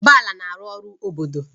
Bala na-arụ ọrụ obodo